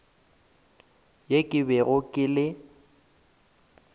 yeo ke bego ke le